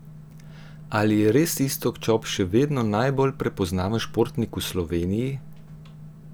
Ali je res Iztok Čop še vedno najbolj prepoznaven športnik v Sloveniji?